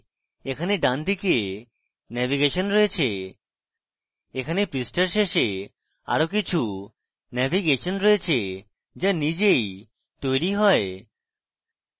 এখানে ডানদিকে navigation রয়েছে এখানে পৃষ্ঠার শেষে আরো কিছু navigation রয়েছে যা নিজেই তৈরী হয়